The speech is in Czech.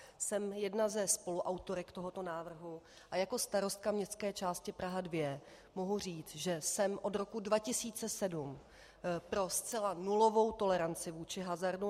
Jsem jedna ze spoluautorek tohoto návrhu a jako starostka městské části Praha 2 mohu říct, že jsem od roku 2007 pro zcela nulovou toleranci vůči hazardu.